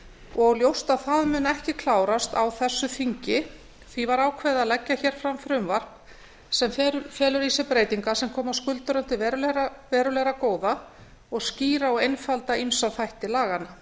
og ljóst að það mun ekki klárast á þessu þingi því var ákveðið að leggja hér fram frumvarp sem felur í sér breytingar sem koma skuldurum til verulegra góða og skýra og einfalda ýmsa þætti laganna